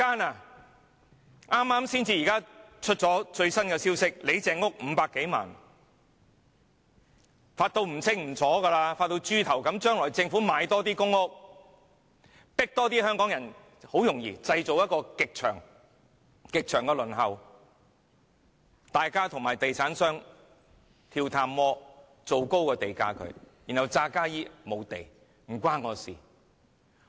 剛公布的最新消息指，李鄭屋邨有單位以500多萬元成交，可以賺大錢，發大達，將來政府多賣公屋，製造極長的輪候時間，政府和地產商跳探戈，製造高地價，然後假裝沒有土地，與政府無關。